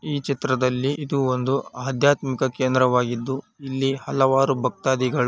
ಈ ಚಿತ್ರದಲ್ಲಿ ಇದು ಒಂದು ಆಧ್ಯಾತ್ಮಿಕ ಕೇಂದ್ರವಾಗಿದ್ದು ಇಲ್ಲಿ ಹಲವಾರು ಭಕ್ತಾಧಿಗಳು--